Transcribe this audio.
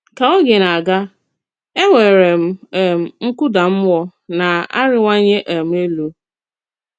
Kà ògé na-àgà, ènwèrè m um nkúdà mmúọ na-arìwànyè um élù.